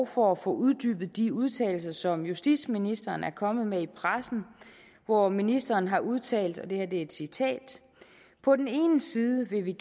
for at få uddybet de udtalelser som justitsministeren er kommet med i pressen hvor ministeren har udtalt og det her er et citat på den ene side vil vi